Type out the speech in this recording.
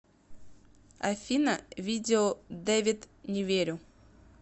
афина видео дэвид не верю